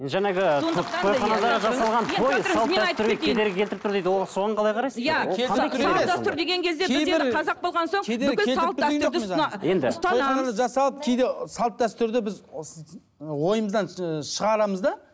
тойханада жасалып кейде салт дәстүрді біз ойымыздан ыыы шығарамыз да